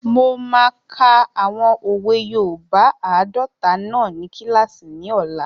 Mo máa ka àwọn òwe yoòbá àádọta náà ní kílàsì ní ọ̀la